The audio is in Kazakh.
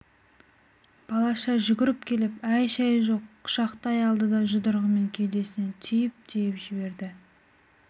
балаша жүгіріп келіп әй-шай жоқ құшақтай алды да жұдырығымен кеудесінен түйіп-түйіп жіберді